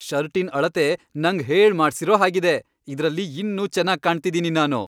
ಷರ್ಟಿನ್ ಅಳತೆ ನಂಗ್ ಹೇಳ್ಮಾಡ್ಸಿರೋ ಹಾಗಿದೆ. ಇದ್ರಲ್ಲಿ ಇನ್ನೂ ಚೆನಾಗ್ ಕಾಣ್ತಿದೀನಿ ನಾನು.